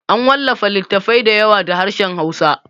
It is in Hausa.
An wallafa littattafai da yawa da harshen hausa